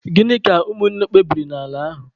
Gịnị ka ụmụ nna kpebiri n'ala ahụ?